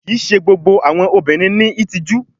Kii ṣe gbogbo awọn obinrin ni itiju